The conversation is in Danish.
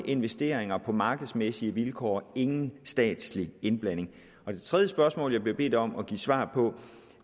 investeringer på markedsmæssige vilkår ingen statslig indblanding det tredje spørgsmål jeg bliver bedt om at give svar på